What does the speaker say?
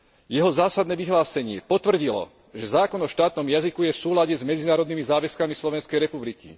Jeho zásadné vyhlásenie potvrdilo, že zákon o štátom jazyku je v súlade s medzinárodnými záväzkami Slovenskej republiky.